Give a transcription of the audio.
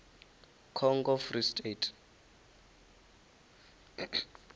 congo free state